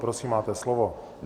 Prosím, máte slovo.